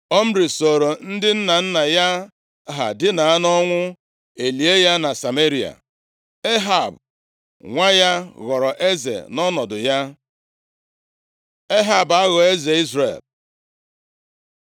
Omri sooro ndị nna nna ya ha dina nʼọnwụ, e lie ya na Sameria. Ehab, nwa ya ghọrọ eze nʼọnọdụ ya. Ehab, aghọọ eze Izrel